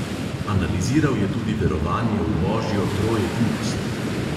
Analiziral je tudi verovanje v božjo troedinost.